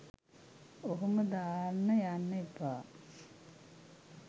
ඔහොම දාන්න යන්න එපා.